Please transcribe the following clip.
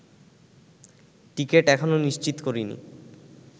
ticket এখনো নিশ্চিত করিনি